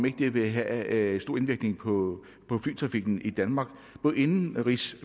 ikke vil have stor indvirkning på flytrafikken i danmark både indenrigs